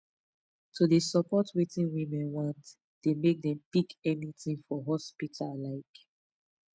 to de support wetin women want dey make dem pick anything for hospital like